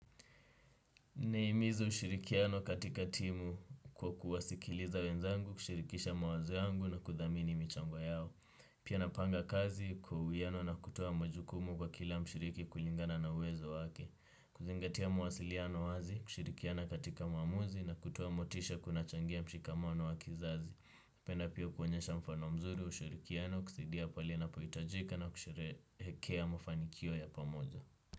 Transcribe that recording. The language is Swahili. Nahimiza ushirikiano katika timu kwa kuwasikiliza wenzangu, kushirikisha mawazo yangu na kuthamini michango yao. Pia napanga kazi kwa uwiano na kutoa majukumu kwa kila mshiriki kulingana na uwezo wake. Kuzingatia mawasiliano wazi, kushirikiana katika maamuzi na kutoa motisha kunachangia mshikamano wa kizazi. Napenda pia kuonyesha mfano mzuri, ushirikiano, kusidia pahali napohitajika na kusherekea mafanikio ya pamoja.